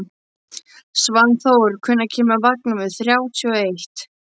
Svanþór, hvenær kemur vagn númer þrjátíu og eitt?